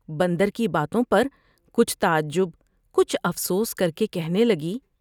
بندر کی باتوں پر کچھ تعجب ، کچھ افسوس کر کے کہنے لگی ۔